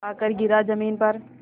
आकर गिरा ज़मीन पर